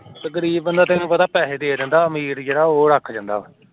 ਗਰੀਬ ਬੰਦਾ ਤੈਨੂੰ ਪਤਾ ਪੈਹੇ ਦੇ ਦਿੰਦਾ ਆਮਿਰ ਬੰਦਾ ਰੱਖ ਜਾਂਦਾ